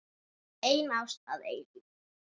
Ein ást að eilífu.